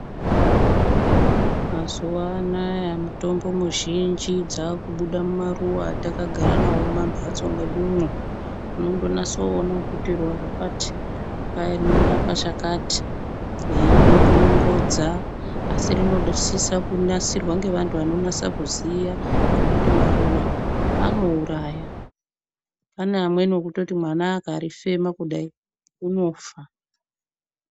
Mazuva anaya mutombo muzhinji dzakubuda mumaruva atakagara navo mumamhatso mwedumwo. Unondonase kuona kuti ruva rakati kwai rinorapa chakati, veiri dongonodza asi rinosisa kunasirwa ngevantu vanonasa kuziya ngekuti maruva anouraya. Pane amweni ekuti mwana akarifema kudai anofa.